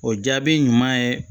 O jaabi ɲuman ye